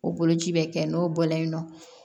O boloci bɛ kɛ n'o bɔlen ye nɔ